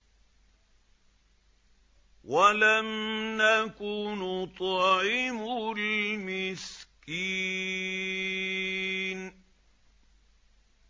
وَلَمْ نَكُ نُطْعِمُ الْمِسْكِينَ